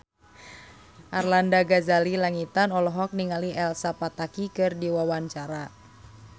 Arlanda Ghazali Langitan olohok ningali Elsa Pataky keur diwawancara